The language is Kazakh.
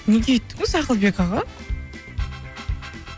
неге өйттіңіз ақылбек аға